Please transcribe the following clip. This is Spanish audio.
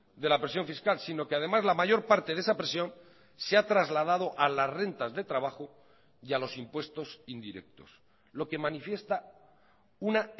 de la presión fiscal sino que además la mayor parte de esa presión se ha trasladado a las rentas de trabajo y a los impuestos indirectos lo que manifiesta una